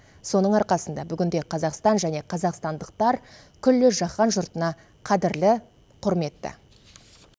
соның арқасында бүгінде қазақстан және қазақстандықтар күллі жаһан жұртына қадірлі құрметті